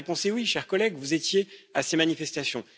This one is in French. La réponse est oui, chers collègues, vous étiez à ces manifestations.